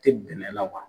Tɛ bɛnɛ la wa